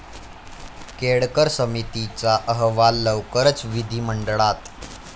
केळकर समितीचा अहवाल लवकरच विधिमंडळात